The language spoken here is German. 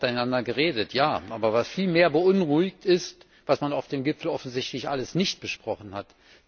Man hat miteinander geredet, ja, aber was vielmehr beunruhigt, ist, was man auf dem Gipfel offensichtlich alles nicht besprochen hat.